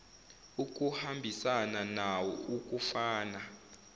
ukuhambisana nawo kufana